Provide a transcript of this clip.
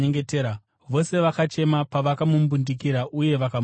Vose vakachema pavakamumbundikira uye vakamutsvoda.